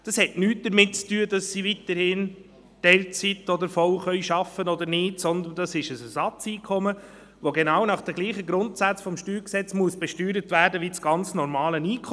Das hat nichts damit zu tun, ob sie weiterhin in Teilzeit oder voll arbeiten können oder nicht, sondern es ist ein Ersatzeinkommen, das nach den denselben Grundsätzen des Steuergesetzes besteuert werden muss wie das ganz normale Einkommen.